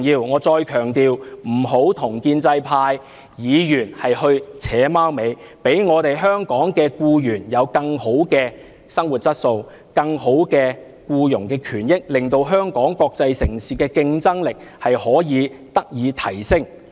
我再強調，請局長不要跟建制派議員"扯貓尾"，讓我們的香港僱員有更好的生活質素、更好的僱傭權益，令香港國際城市的競爭力得以提升。